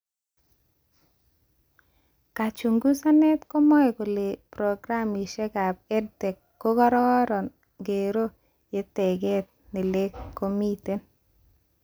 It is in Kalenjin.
Kachungusanet komae kole programishekab EdTech kokararon ngeroo yo teket nelek komiten